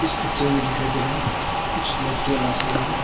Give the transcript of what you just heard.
picture मे दिखाई दे रहा है कुछ लड़के नाचते हुए--